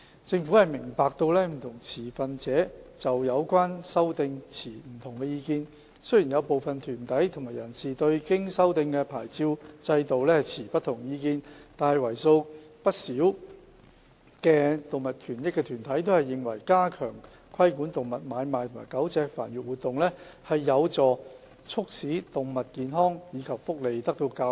政府明白，不同持份者就有關修訂持不同意見，雖然有部分團體和人士對經修訂的牌照制度持不同意見，但為數不少的動物權益團體均認為，加強規管動物買賣和狗隻繁育活動，有助促進保障動物健康及福利。